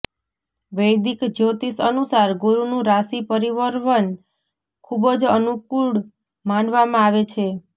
વૈદિક જ્યોતિષ અનુસાર ગુરૂનું રાશિ પરિવર્વન ખુબજ અનુકુળ માનવામાં આવે છે